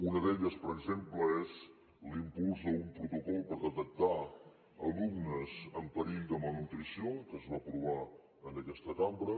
una d’elles per exemple és l’impuls d’un protocol per detectar alumnes en perill de malnutrició que es va aprovar en aquesta cambra